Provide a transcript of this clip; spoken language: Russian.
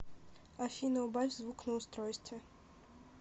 афина убавь звук на устройстве